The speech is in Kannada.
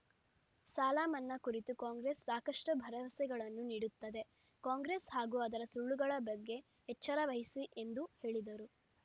ಸಾಲ ಮನ್ನಾ ಕುರಿತು ಕಾಂಗ್ರೆಸ್‌ ಸಾಕಷ್ಟುಭರವಸೆಗಳನ್ನು ನೀಡುತ್ತದೆ ಕಾಂಗ್ರೆಸ್‌ ಹಾಗೂ ಅದರ ಸುಳ್ಳುಗಳ ಬಗ್ಗೆ ಎಚ್ಚರ ವಹಿಸಿ ಎಂದು ಹೇಳಿದರು